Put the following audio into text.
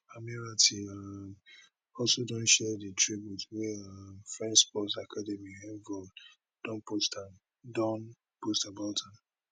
ammirati um also don share di tribute wia um french sports academy envol don post about am